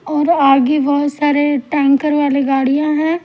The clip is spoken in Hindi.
और आगे बहुत सारे टैंकर वाले गाड़ियाँ हैं।